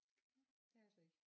Det er jeg så ikke